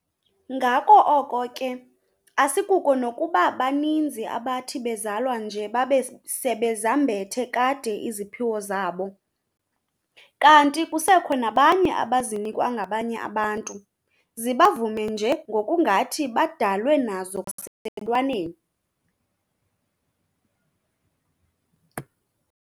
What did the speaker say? Ngako oko ke asikuko nokuba baninzi abathi bezalwa nje babe sebezambethe kade iziphiwo zabo, kanti kusekwakho nabanye abazinikwayo ngabanye abantu, zibavume nje ngokungathi badalwe nazo kwasebuntwaneni.